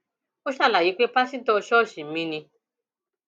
ó ṣàlàyé pé pásítọ ṣọọṣì ni mí